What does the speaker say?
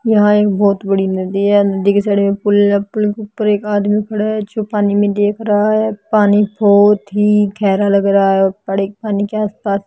यहाँ एक बहुत बड़ी नदी है नदी के साइड में पुल है पुल के ऊपर एक आदमी खड़ा है जो पानी में देख रहा है पानी बहुत ही गहरा लग रहा है और पड़े पानी के आस पास --